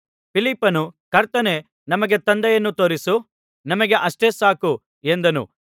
ಫಿಲಿಪ್ಪನು ಕರ್ತನೇ ನಮಗೆ ತಂದೆಯನ್ನು ತೋರಿಸು ನಮಗೆ ಅಷ್ಟೇ ಸಾಕು ಎಂದನು